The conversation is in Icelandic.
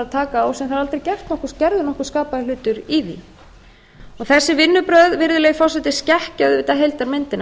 taka á eru en það er aldrei gerður nokkur skapaður hlutur í því þessi vinnubrögð virðulegi forseti skekkja auðvitað heildarmyndina